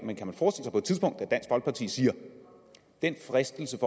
siger at fristelsen